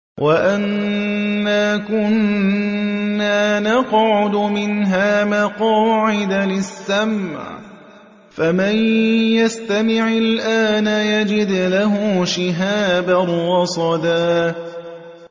وَأَنَّا كُنَّا نَقْعُدُ مِنْهَا مَقَاعِدَ لِلسَّمْعِ ۖ فَمَن يَسْتَمِعِ الْآنَ يَجِدْ لَهُ شِهَابًا رَّصَدًا